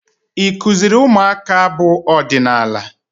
Ị kụziri ụmụaka abụ ọdịnaala?